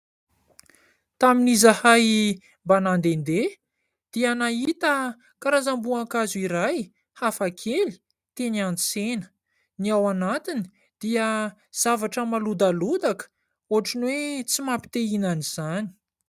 Tamin'izahay mba nandehandeha dia nahita karazam-boankazo iray hafakely teny an-tsena. Ny ao anatiny dia zavatra malodalodaka ohatran'ny hoe tsy mampite ihinana izany.